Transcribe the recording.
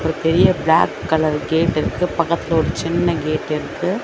பெரிய black colour gate இருக்கு பக்கத்துல ஒரு சின்ன ஃகேட்டு இருக்கு.